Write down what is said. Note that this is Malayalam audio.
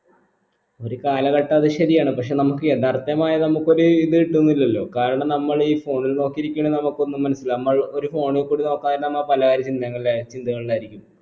ഒരു കാലഘട്ട അത് ശരിയാണ് പക്ഷെ നമുക്ക് യഥാർത്ഥമായ നമുക്കൊരു ഇത് കിട്ടുന്നില്ലലോ കാരണം നമ്മൾ ഈ phone ൽ നോക്കിയിരിക്കണേ നമുക്കൊന്ന് മനസിലാവും നമ്മൾ ഒരു phone ൽ കൂടി നോക്കാതിരുന്നാ നമ്മ പലകാര്യം ചിന്തങ്ങളായിരിക്കും ചിന്തകളായിരിക്കും